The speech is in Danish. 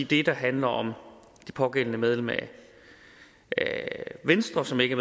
det der handler om det pågældende medlem af venstre som ikke